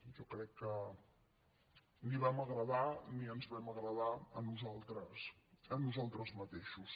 jo crec que ni vam agradar ni ens vam agradar a nosaltres mateixos